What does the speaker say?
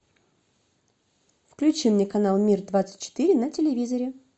включи мне канал мир двадцать четыре на телевизоре